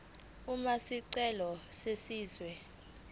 uma isicelo senziwa